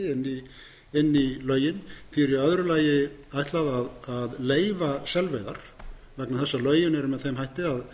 íslandi inn í lögin því er í öðru lagi ætlað að leyfa selveiðar vegna þess að lögin eru með þeim hætti að